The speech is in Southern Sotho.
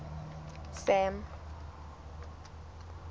sam